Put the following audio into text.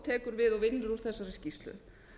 tekur við og vinnur úr þessari skýrslu